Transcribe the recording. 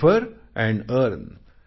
refer and earn